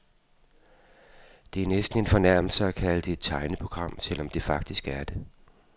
Det er næsten en fornærmelse at kalde det et tegneprogram, selv om det faktisk er det.